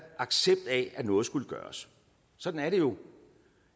accept af at noget skulle gøres sådan er det jo